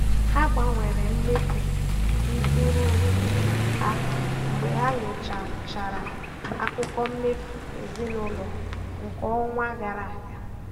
Ha gbanwere mmefu ntụrụndụ ha mgbe ha nyochachara akụkọ mmefu ezinụlọ nke ọnwa gara aga.